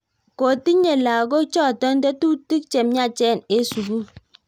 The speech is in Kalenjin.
Kotinyee lago chotok tetutik chemnyachen eng sukul